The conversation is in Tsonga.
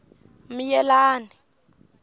miyelani